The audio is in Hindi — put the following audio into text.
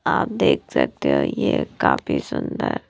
आप देख सकते हो ये काफी सुंदर--